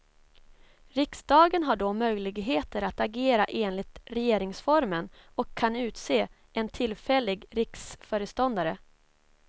Riksdagen har då möjligheter att agera enligt regeringsformen och kan utse en tf riksföreståndare.